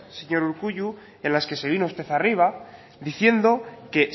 señor urkullu en las que se vino usted arriba diciendo que